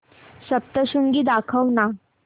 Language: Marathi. सप्तशृंगी दाखव ना